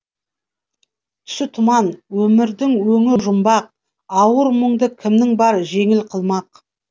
түсі тұман өмірдің өңі жұмбақ ауыр мұңды кімің бар жеңіл қылмақ